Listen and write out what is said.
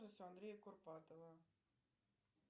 андрея курпатова